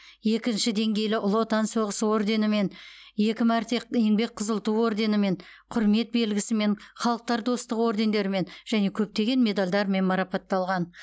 екінші деңгейлі ұлы отан соғысы орденімен екі мәрте еңбек қызыл ту орденімен құрмет белгісі мен халықтар достығы ордендерімен және көптеген медальдармен марапатталған